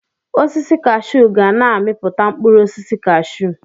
Osisi kashuu ga na-amipụta mkpụrụ osisi kashuu